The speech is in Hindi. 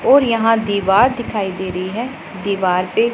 और यहां दीवार दिखाई दे रही है दीवार पे--